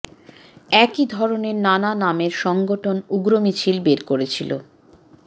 একই ধরণের নানা নামের সংগঠন উগ্র মিছিল বের করেছিল